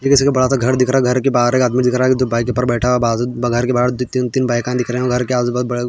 ये किसी का बडासा घर दिख रहा है घर के बाहर एक आदमी दिख रहा है दो पायी पर बैठा बाजु घर के बाहर तीन तीन बाईका दिख रही है घर के आस पास --